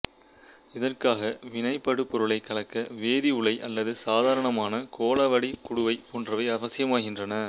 இதற்காக வினைபடு பொருளை கலக்க வேதி உலை அல்லது சாதாரணமான கோளவடிவக் குடுவை போன்றவை அவசியமாகின்றன